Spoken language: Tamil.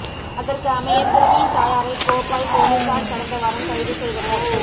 அதற்கு அமைய சிறுமியின் தாயாரை கோப்பாய் பொலிஸார் கடந்தவாரம் கைது செய்தனர்